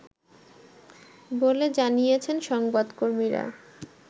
বলে জানিয়েছেন সংবাদকর্মীরা